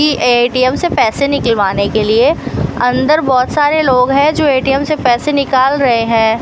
की ए_टी_म से पैसे निकलवाने के लिए अंदर बहोत सारे लोग है जो ए_टी_म से पैसे निकाल रहे है।